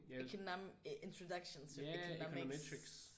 Economic introduction to economics